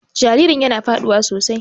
Jaririn yana faduwa sosai.